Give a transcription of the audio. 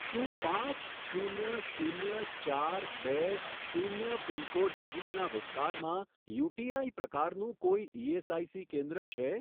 શું પાંચ શૂન્ય શૂન્ય ચાર બે શૂન્ય પિનકોડ નજીકના વિસ્તારમાં યુટીઆઈ પ્રકારનું કોઈ ઇએસઆઇસી કેન્દ્ર છે?